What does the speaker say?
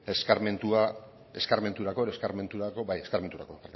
eskarmenturako